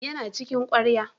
Yana cikin ƙwarya.